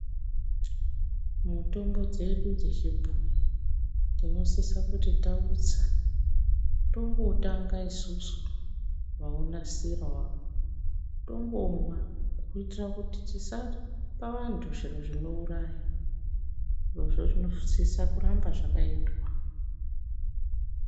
Mutombo dzedu dze chibhoyi tinosisa kuti tautsa tombo tanga isusu vau nasira waro tombomwa kuitira kuti tisapa vantu zviro zvino uraya zvirozvo zvinosisa kuramba zvakaitwa.